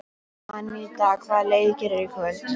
Aníta, hvaða leikir eru í kvöld?